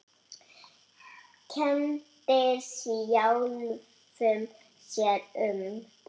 Kenndi sjálfum sér um.